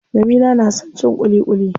Jamila na son cin ƙuliƙuli.